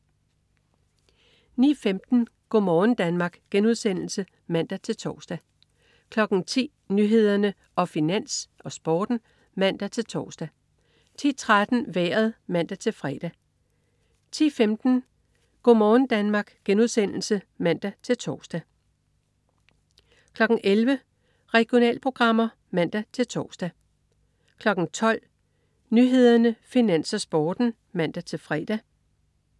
09.15 Go' morgen Danmark* (man-tors) 10.00 Nyhederne, Finans, Sporten (man-tors) 10.13 Vejret (man-fre) 10.15 Go' morgen Danmark* (man-tors) 11.00 Regionalprogrammer (man-tors) 12.00 Nyhederne, Finans, Sporten (man-fre)